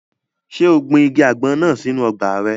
Ṣé o gbin igi àgbọn náà sínu ọgbà rẹ̀?